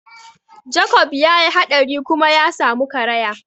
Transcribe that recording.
Jakob ya yi haɗari kuma ya samu karaya.